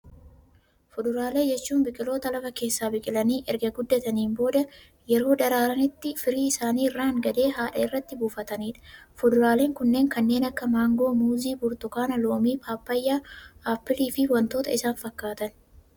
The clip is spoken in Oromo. Fuduraalee jechuun, biqiloota lafa keessaa biqilanii, erga guddataniin booda yeroo daraaranitti firii isaanii irraan gadee haadha irratti buufatanidha. Fuduraaleen kunneen kanneen akka maangoo, muuzii, burtukaana, loomii, pappaayyaa, appilii fi waantota isaan fakkaatan.